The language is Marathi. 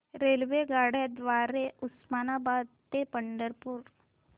रेल्वेगाड्यां द्वारे उस्मानाबाद ते पंढरपूर